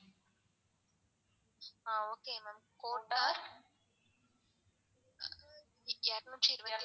ஆஹ் okay ma'am கோட்டார் இரநூற்றி இருப்பதி.